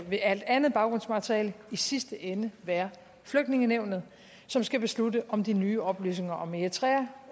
ved alt andet baggrundsmateriale i sidste ende være flygtningenævnet som skal beslutte om de nye oplysninger om eritrea